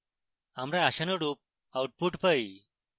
আমরা আশানুরুপ output পাই